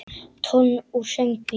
Tónn úr söng mínum.